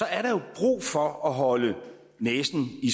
er der jo brug for at holde næsen i